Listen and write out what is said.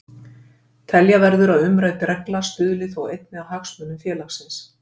Telja verður að umrædd regla stuðli þó einnig að hagsmunum félagsins.